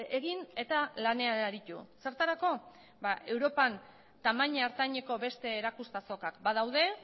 egin eta lanean aritu zertarako ba europan tamaina ertaineko beste erakusketa azokak badaude